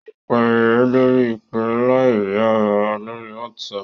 Yóò pè ẹ́ lórí ìpè aláìríara lórí WhatsApp